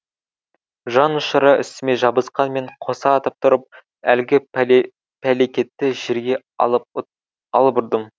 жан ұшыра үстіме жабысқанмен қоса атып тұрып әлгі пәлекетті жерге алып ұрдым